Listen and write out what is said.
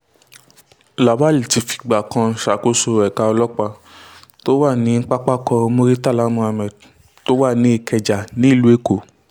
lawal ti fìgbà kan ṣàkóso ẹ̀ka ọlọ́pàá tó wà ní pápákọ̀ muritàlá muhammed tó wà ní ìkẹjà nílùú èkó